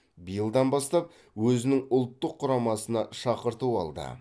биылдан бастап өзінің ұлттық құрамасына шақырту алды